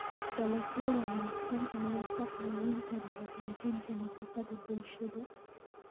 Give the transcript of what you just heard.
Dalagyo wanaagsan ayaa kaa caawin kara hagaajinta nafaqada bulshada.